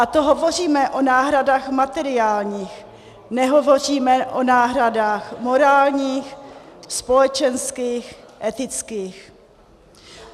A to hovoříme o náhradách materiálních, nehovoříme o náhradách morálních, společenských, etických.